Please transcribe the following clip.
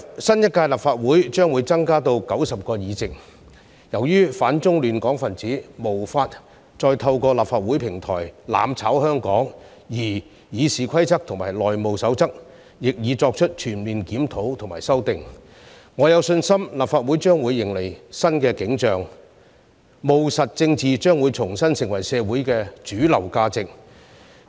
新一屆立法會將會增加至90個議席，由於反中亂港分子無法再透過立法會平台"攬炒"香港，而《議事規則》和《內務守則》亦已作出全面檢討和修訂，我有信心立法會將會迎來新景象，務實政治將重新成為社會的主流價值。